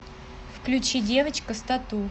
включи девочка с тату